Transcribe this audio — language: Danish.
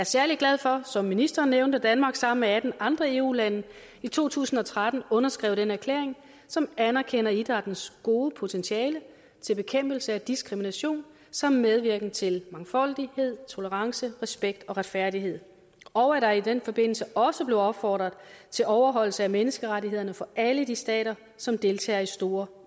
særlig glad for som ministeren nævnte at danmark sammen med atten andre eu lande i to tusind og tretten underskrev den erklæring som anerkender idrættens gode potentiale til bekæmpelse af diskrimination samt medvirken til mangfoldighed tolerance respekt og retfærdighed og at der i den forbindelse også blev opfordret til overholdelse af menneskerettighederne for alle de stater som deltager i store